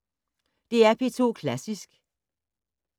DR P2 Klassisk